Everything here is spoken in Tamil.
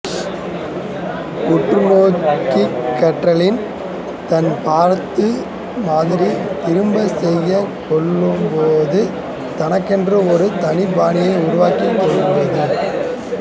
உற்று நோக்கிக் கற்றலின் தான் பார்த்தது மாதிரி திரும்பச் செய்யக் கற்றுக் கொள்ளும்போது தனக்கென்று ஒரு தனிப்பாணியை உருவாக்கிக் கொள்வதுதான்